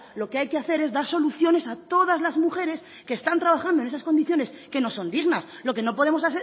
lo que hay que hacer es dar soluciones a todas las mujeres que están trabajando en esas condiciones que no son dignas lo que no podemos